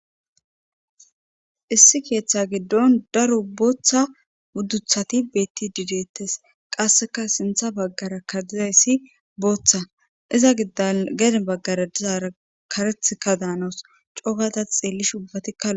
issi keeththa giddon daro booththa budduthati beetti dideettes qasseka sintha baggara kadizayssi booththa iza giddan geden baggara dizaara karethka daanaus coogata xeellish ubbati ka loo'i